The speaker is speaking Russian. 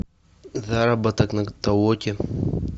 заработок на толоке